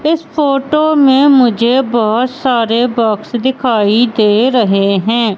इस फोटो में मुझे बहोत सारे बॉक्स दिखाई दे रहे हैं।